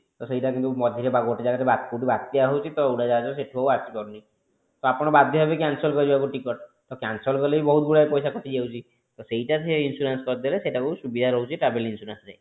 କିନ୍ତୁ ସେଇଟା କିନ୍ତୁ ମଝିରେ ଗୋଟେ ଜାଗାରେ ବାତ୍ୟା ହୋଉଛି ତ ଉଡାଜାହାଜ ସେଠୁ ଆଉ ଆସି ପାରୁନି ତ ଆପଣ ବାଧ୍ୟ ହେବେ cancel କରିବାକୁ ticket ତ cancel କଲେ ବି ବହୁତ ଗୁଡା ପଇସା କଟି ଯାଉଛି ତ ସେଇଟା ସେ insurance କରିଦେଲେ ସେଟା କୁ ସୁବିଧା ରହୁଛି travel insurance ରେ